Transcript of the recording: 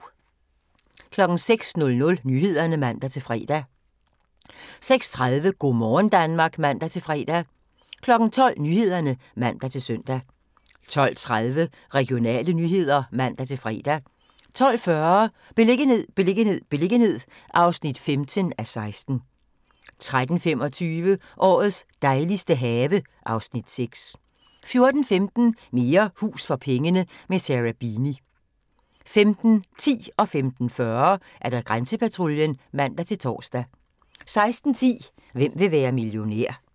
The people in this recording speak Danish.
06:00: Nyhederne (man-fre) 06:30: Go' morgen Danmark (man-fre) 12:00: Nyhederne (man-søn) 12:30: Regionale nyheder (man-fre) 12:40: Beliggenhed, beliggenhed, beliggenhed (15:16) 13:25: Årets dejligste have (Afs. 6) 14:15: Mere hus for pengene – med Sarah Beeny 15:10: Grænsepatruljen (man-tor) 15:40: Grænsepatruljen (man-tor) 16:10: Hvem vil være millionær?